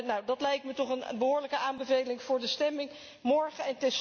Nu, dat lijkt mij toch een behoorlijke aanbeveling voor de stemming morgen.